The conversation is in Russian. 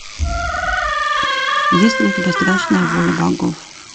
есть ли у тебя страшная воля богов